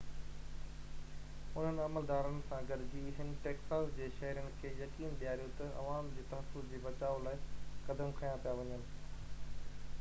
انهن عملدارن سان گڏجي هن ٽيڪساس جي شهرين کي يقين ڏياريو ته عوام جي تحفظ جي بچاءُ لاءِ قدم کنيا پيا وڃن